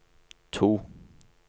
to